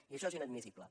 i això és inadmissible